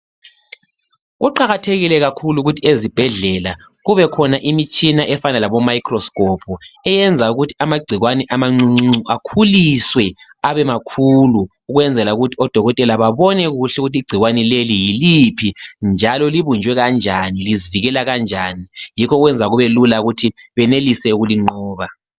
Kuqakathekile kakhulu ukuthi ezibhedlela kube khona imitshina efana labomicroscope eyenza ukuthi amagcikwane amancuncuncu akhuliswe abemakhulu ukwenzela ukuthi odokotela babone kuhle ukuthi igcikwane leli yiliphi njalo libunjwe kanjani lizivikela kanjani. Yikho okwenza kubelula ukuthi benelise ukulinqoba.